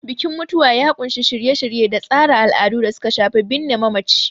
Bikin mutuwa ya ƙunshi shirye-shirye da tsara al'adu da suka shafi binne mamacin.